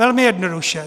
Velmi jednoduše.